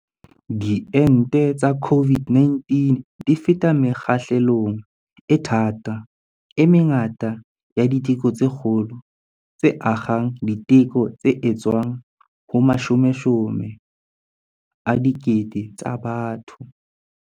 Diente tsa COVID-19 di feta mekgahlelong e thata, e mengata ya diteko tse kgolo, tse akgang diteko tse etswang ho mashomeshome a dikete tsa batho.